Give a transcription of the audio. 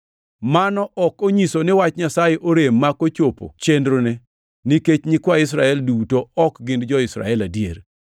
Mano ok onyiso ni wach Nyasaye orem mak ochopo chenrone, nikech nyikwa Israel duto ok gin jo-Israel adier.